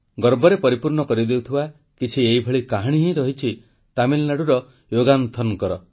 ଗର୍ବରେ ପରିପୂର୍ଣ୍ଣ କରିଦେଉଥିବା କିଛି ଏହିଭଳି କାହାଣୀ ହିଁ ରହିଛି ତାମିଲନାଡ଼ୁର ୟୋଗାନନ୍ଥନଙ୍କର